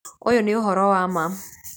Ũyũ ti ũhoro wa ma.